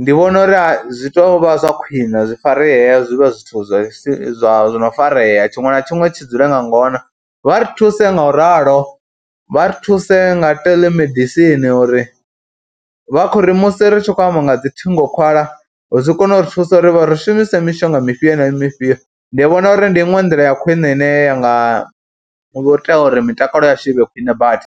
Ndi vhona uri a zwi tou vha zwa khwiṋe zwi faree, zwi vhe zwithu zwi si zwa no farea tshiṅwe na tshiṅwe tshi dzule nga ngona. Vha ri thuse ngauralo, vha ri thuse nga theḽemedisini uri vha khou ri musi ri tshi khou amba nga dzi thingokhwala zwi kone u ri thusa uri ri shumise mishonga mifhio na mifhio. Ndi vhona uri ndi iṅwe nḓila ya khwine ine ya nga ita uri mitakalo yashu i vhe khwine badi.